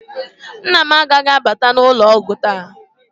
Nna m agaghị abata ụlọ ọgwụ taa